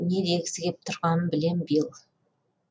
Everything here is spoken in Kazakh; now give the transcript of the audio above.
не дегісі келіп тұрғанын білемін билл